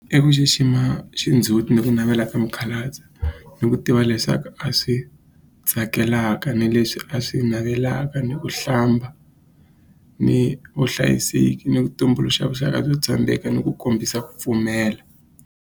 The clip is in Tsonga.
I ku xixima xindzhuti ni ku navela ka mukhalabye ni ku tiva leswaku a swi tsakelaka ni leswi a swi navelaka ni ku hlamba ni vuhlayiseki ni ku tumbuluxa vuxaka byo tshembeka ni ku kombisa ku pfumela.